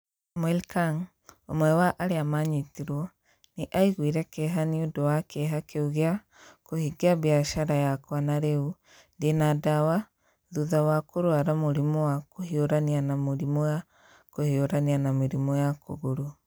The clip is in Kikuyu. Samuel Kang, ũmwe wa arĩa maanyitirwo, nĩ aiguire kĩeha nĩ ũndũ wa kĩeha kĩu gĩa "kũhingia biacara yakwa na rĩu ndĩ na ndawa thutha wa kũrũara mũrimũ wa kũhiũrania na mĩrimũ ya kũhiũrania na mĩrimũ ya kũgũrũ".